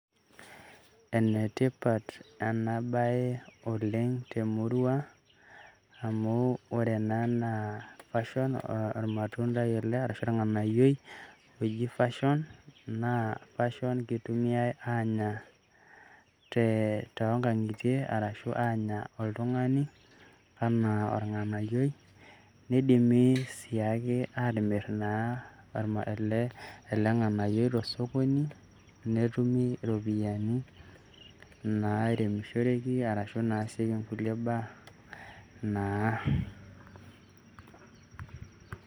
Enetipat ena baye oleng' temurua amu ore ena naa passion, ormatundai ele arashu orng'anayioi oji passion naa kitumiyai aanya toonkang'itie arashu aanya oltung'ani enaa orng'anayioi, neidimi sii ake aatimirr naa ele ng'anayioi te osokoni netumi irpoyiani nairemishoreki arashu inaasieki inkulie baa naa.